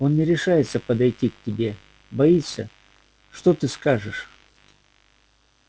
он не решается подойти к тебе боится что ты скажешь